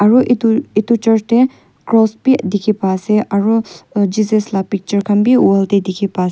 aru itu itu church tey cross bhi dikhi pai ase aro Jesus la picture khan bi wall tey dikhipa ase.